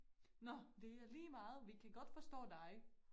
Nå det er ligemeget vi kan godt forstå dig